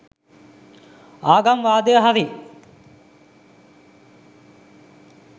ආගම් වාදය හරි